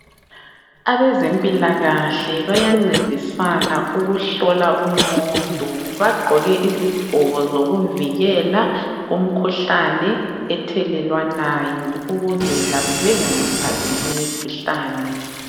Abezempilalakahle bayancedisana ukuhlola umuntu. Bagqoke izigqoko zokuvikela kumikhuhlane ethelelwanayo ukuze labo bengayithathi limikhuhlane.